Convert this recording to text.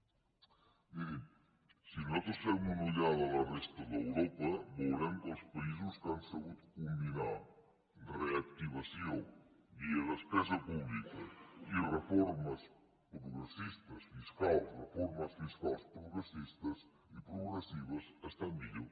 miri si nosaltres fem una ullada a la resta d’europa veurem que els països que han sabut combinar reactivació via despesa pública i reformes progressistes fiscals reformes fiscals progressistes i progressives estan millor